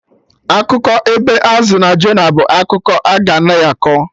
Akụkọ ebe Azụ no Jonah bụ akụkọ a-ga na akọ